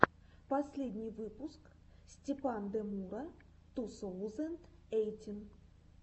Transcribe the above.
последний выпуск степандемура ту соузэнд эйтин